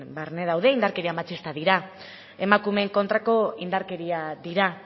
barne daude indarkeria matxista dira emakumeen kontrako indarkeria dira